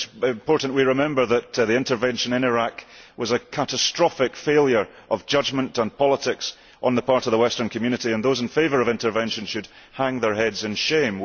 It is important that we remember that the intervention in Iraq was a catastrophic failure of judgement and politics on the part of the Western community, and those in favour of intervention should hang their heads in shame.